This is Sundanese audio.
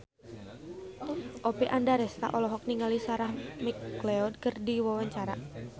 Oppie Andaresta olohok ningali Sarah McLeod keur diwawancara